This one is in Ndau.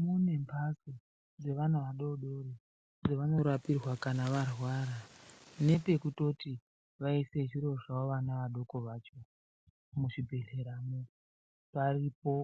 mune mhatso dzeana adodori dzevanorapirwa kana varwara. Nepekutoti vaise zviro zvawo vana vadoko vacho muzvibhedhleramwo paripo.